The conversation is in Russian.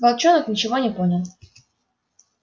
волчонок ничего не понял